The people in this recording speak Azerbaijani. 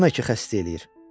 Demə ki, xəstə eləyir.